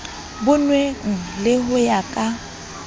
bonwang le ho ya ka